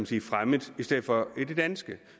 sige fremmet i stedet for i det danske